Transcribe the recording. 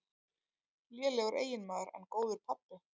Lélegur eiginmaður, en góður pabbi.